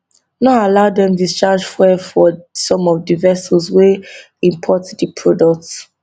no allow dem discharge fuel for some of di vessels wey import di product